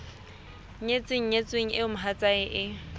nyetseng nyetsweng eo mohatsae e